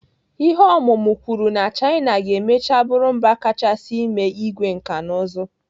Ihe ọmụmụ kwuru na China ga-emecha bụrụ mba kachasị eme igwe nkanụzụ.